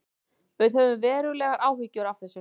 Við höfum verulegar áhyggjur af þessu